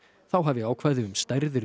þá hafi ákvæði um stærðir